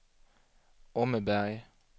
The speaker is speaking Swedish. Åmmeberg